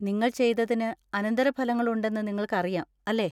നിങ്ങൾ ചെയ്തതിന് അനന്തരഫലങ്ങൾ ഉണ്ടെന്ന് നിങ്ങൾക്കറിയാം, അല്ലേ?